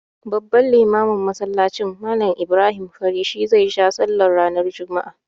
Babban limamin masallacin, Mallam Ibrahim Fari shi zai ja sallah ranar juma'a.